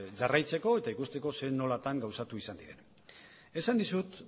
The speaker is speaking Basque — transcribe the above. jarraitzeko eta ikusteko nolatan gauzatu izan diren esan dizut